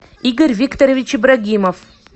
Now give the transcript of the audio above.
игорь викторович ибрагимов